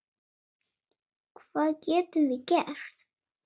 Hvað getum við gert?